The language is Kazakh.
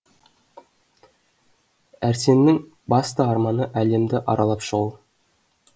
әрсеннің басты арманы әлемді аралап шығу